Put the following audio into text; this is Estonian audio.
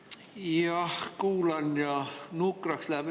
Jah, kuulan ja nukraks läheb.